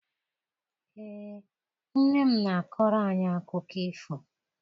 Ee, nne m na-akọrọ anyị akụkọ ifo.